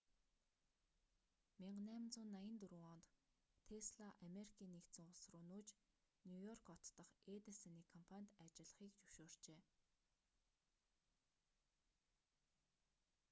1884 онд тесла америкийн нэгдсэн улс руу нүүж нью-йорк хот дахь эдисоны компанид ажиллахыг зөвшөөрчээ